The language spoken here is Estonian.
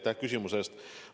Aitäh küsimuse eest!